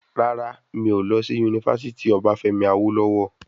Rárá, mi ò lọ sí yunifásítì obafemi awolowo.